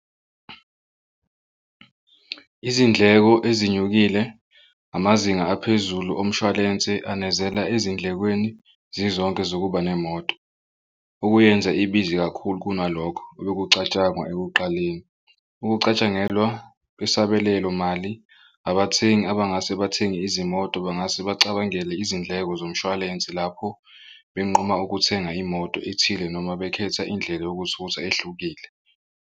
Izindleko ezinyukile amazinga aphezulu omshwalense anezela ezindlekweni zizonke zokuba nemoto okuyenza ibiza kakhulu kunalokho obekucatshangwa ekuqaleni. Ukucatshangelwa kwesabelelomali abathengi abangase bathenge izimoto bangase bacabangele izindleko zomshwalensi lapho benquma ukuthenga imoto ethile noma bekhetha indlela yokuthutha ehlukile.